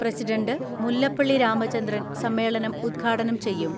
President Mullappally Ramachandran സമ്മേളനം ഉദ്ഘാടനം ചെയ്യും.